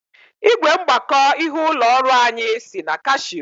Ị́gwè mgbakọ ịhe ụlọ ọrụ anyị si na Kashio.